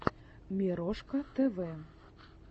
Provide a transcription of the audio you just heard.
мирошка тв